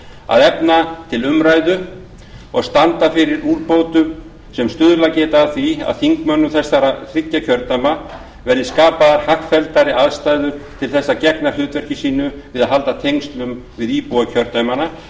að efna til umræðu og standa fyrir úrbótum sem stuðlað geta að því að þingmönnum þessara þriggja kjördæma verði skapaðar hagfelldari aðstæður til þess að gegna hlutverki sínu við að halda tengslum við íbúa kjördæmanna